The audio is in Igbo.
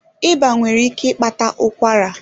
Ịba nwere ike ịkpata ụkwara.